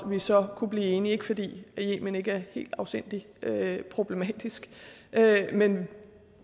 vi så kunne blive enige ikke fordi yemen er ikke helt afsindig problematisk men